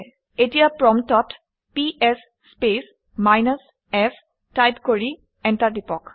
এতিয়া প্ৰম্পটত PS space minus f type কৰি এণ্টাৰ টিপক